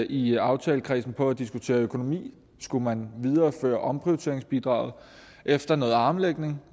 i aftalekredsen på at diskutere økonomi skulle man videreføre omprioriteringsbidraget efter noget armlægning